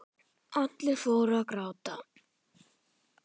Allir fóru að gráta.